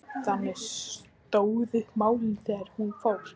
Þannig stóðu málin þegar hún fór.